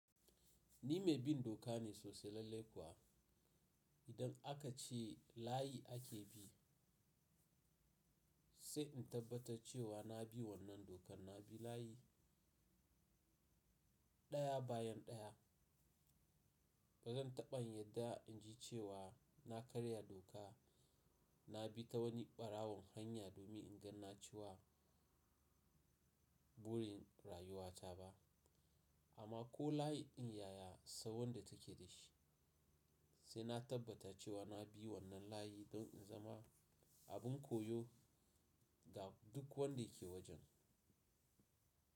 Ni mai bin doka ne sosai lallai kuwa. Idan aka ce layi ake bi sai in tabbatar cewa na bi wannan dokar. Na bi layi ɗaya bayan ɗaya. Ba zan taɓa yin yarda in ji cewa na karya doka. Na bi ta wani ɓarawon hanya domin in ganne cewa burin rayuwata ba, amma ko layi in yaya sau wanda take da shi sai na tabbatar cewa na bi wannan layi don in zama abin koyo ga duk wanda yake wajen.